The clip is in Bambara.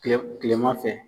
kile kilema fɛ